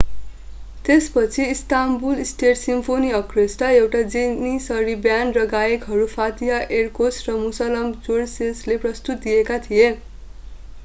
त्यसपछि Istanbul state symphony orchestra एउटा Janissary band र गायकहरू फातिह एरकोस र मुसलम गोर्सेसले प्रस्तुति दिएका थिए